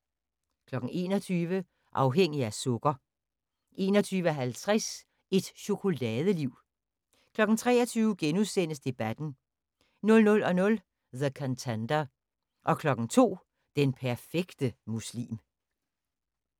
21:00: Afhængig af sukker 21:50: Et chokoladeliv 23:00: Debatten * 00:00: The Contender 02:00: Den perfekte muslim